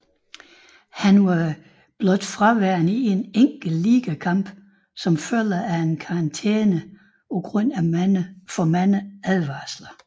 Han var blot fraværende i en enkelt ligakamp som følge af en karantæne grundet for mange advarsler